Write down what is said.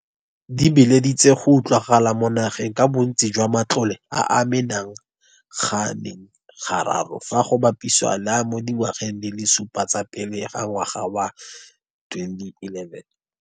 Di beeleditse go utlwagala mo nageng ka bontsi jwa matlole a a mena ganeng ga raro fa go bapisiwa le a mo dingwageng di le supa tsa pele ga ngwaga wa 2011.